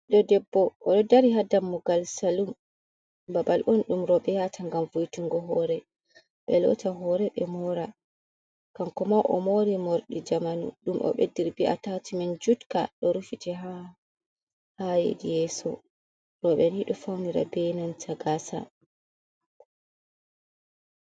Biddô débbo o dô dari ha dammugal salum babal on dum robe yata ngam vo'etingo hore be lotta hore be mora. Kanko ma o mori mordi jamanu dum o bediri be atachimen jutka do rufiti ha yedi yeso. Roube nido faunira be nanta gasa.